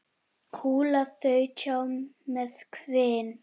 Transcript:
Kúla þaut hjá með hvin.